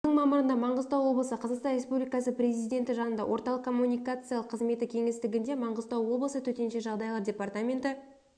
жылыдың мамырында маңғыстау облысы қазақстан республикасы президенті жанындағы орталық коммуникациялық қызметі кеңістігінде маңғыстау облысы төтенше жағдайлар департаменті